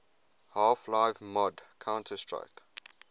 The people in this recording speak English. half life mod counter strike